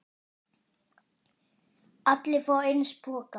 Allir fá eins poka.